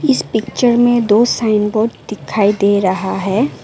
इस पिक्चर में दो साइन बोर्ड दिखाई दे रहा है।